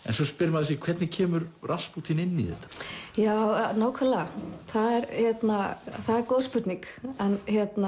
en svo spyr maður sig hvernig kemur Raspútín inn í þetta já nákvæmlega það er góð spurning en